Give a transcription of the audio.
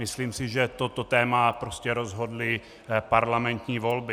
Myslím si, že toto téma prostě rozhodly parlamentní volby.